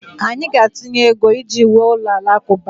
Anyị ga-atụnye ego iji wuo ụlọ alakụba